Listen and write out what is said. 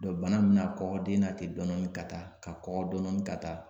bana in mina kɔkɔ den na ten dɔɔni ka taa ka kɔkɔ dɔɔni ka taa